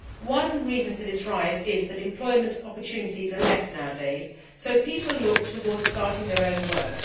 One reason for this rise is that employment opportunities are fewer these days, so people look towards starting their own work.